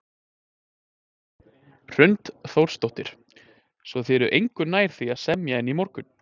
Hrund Þórsdóttir: Svo þið eruð engu nær því að semja en í morgun?